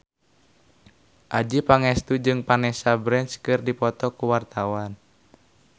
Adjie Pangestu jeung Vanessa Branch keur dipoto ku wartawan